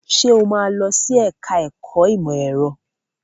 Sọ ma lọ sí ẹ̀ká ẹ̀kọ́ ìmọ̀ ẹ̀rọ?